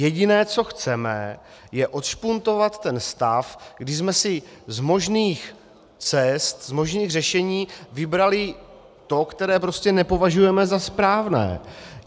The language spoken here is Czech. Jediné, co chceme, je odšpuntovat ten stav, kdy jsme si z možných cest, z možných řešení vybrali to, které prostě nepovažujeme za správné.